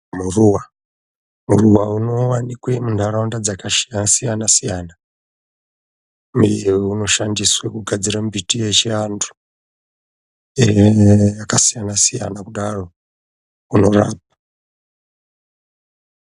Muruwa, muruwa unowanikwa muntaraunda dzakasiyana siyana. Mimwe inoshandiswa kugadzira mushonga yechiantu yakasiyana siyana kudaro unorapa.